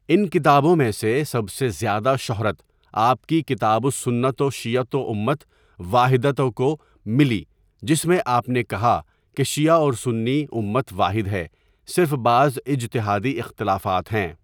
ان کتابوں میں سے سب سے زیادہ شہرت آپ کی کتاب السنة والشيعة أمة واحدة کو ملی جس میں آپ نے کہا کہ شیعہ اور سنی امت واحد ہے صرف بعض اجتہادی اختلافات ہیں.